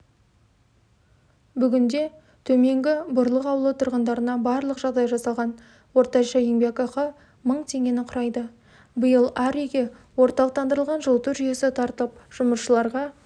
бүгінде төменгі бұрлық ауылы тұрғындарына барлық жағдай жасалған орташа еңбекақы мың теңгені құрайды биыл әр үйге орталықтандырылған жылыту жүйесі тартылып жұмысшыларға